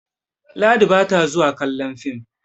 Ladi ba ta zuwa kallon fim